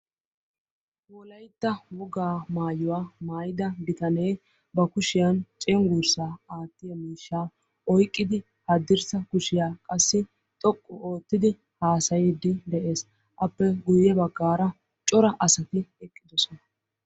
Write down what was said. Wolaytta wogaa maayuwa maayyida bitanee ba kushiyaan cenggursa aattiyaga miishshaa oyiqqidi haddirssa kushiya qassi xoqqu oottidi haasayiddi de'ees. Appe guyye baggara cora asati eqqidosona.